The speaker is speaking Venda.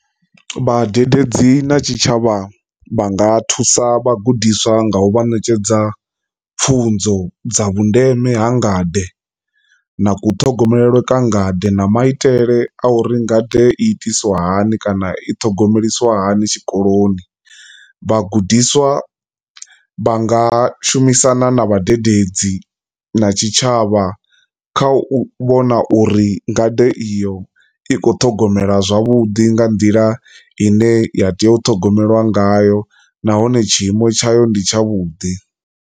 Vhadededzi na tshitshavha vha nga thusa vhagudiswa nga u vha ṋetshedza pfhunzo dza vhundeme ha ngade na ku ṱhogomelwe kwa ngade na maitele a uri nga ḓe itisa hani kana i thogomelisiwa hani tshikoloni, vhagudiswa vhanga shumisana na vhadededzi na tshitshavha kha u vhona uri ngade iyo i kho ṱhogomelwa zwavhuḓi nga nḓila i ne ya tea u ṱhogomela ngayo nahone tshi imo tshayo ndi tsha vhuḓi.